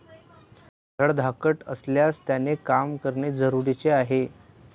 धडधाकट असल्यास त्याने काम करणे जरुरीचे आहे.